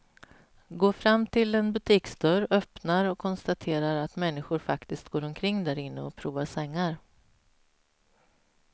Går fram till en butiksdörr, öppnar och konstaterar att människor faktiskt går omkring därinne och provar sängar.